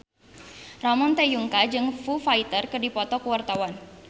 Ramon T. Yungka jeung Foo Fighter keur dipoto ku wartawan